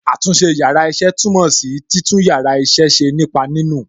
Àtúnṣe yàrá iṣẹ́ túmọ̀ sí títún yàrá iṣẹ́ ṣe nípa nínù.